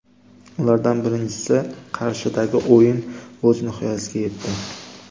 Ulardan birinchisi Qarshidagi o‘yin o‘z nihoyasiga yetdi.